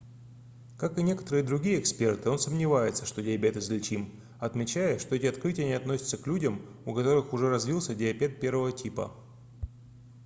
как и некоторые другие эксперты он сомневается что диабет излечим отмечая что эти открытия не относятся к людям у которых уже развился диабет 1 типа